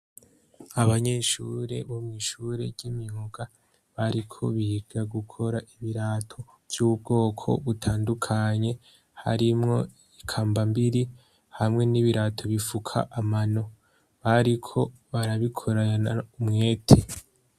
Abanyeshure bomwishure ry'imyuga bariko biga gukora ibirato vyubwoko butandukanye harimwo ikambambiri hamwe n 'ibirato bifuka amano bariko barabikorana umwete.